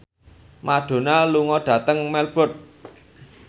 Madonna lunga dhateng Melbourne